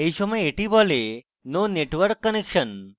এই সময় এটি বলে no network connection